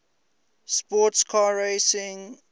sports car racing